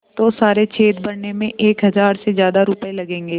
तो सारे छेद भरने में एक हज़ार से ज़्यादा रुपये लगेंगे